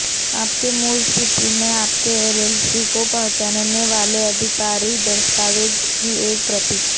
आपके मूल स्थिति में आपके एलएलसी को पहचानने वाले आधिकारिक दस्तावेज की एक प्रति